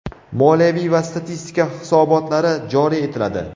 moliyaviy va statistika hisobotlari joriy etiladi;.